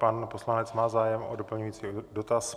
Pan poslanec má zájem o doplňující dotaz.